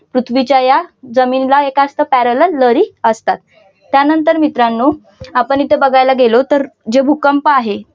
पृथ्वीच्या या जमिनला एक असत parallel लहरी असतात त्यानंतर मित्रांनो आपण इथे बघायला गेलो तर जे भूकंप आहे.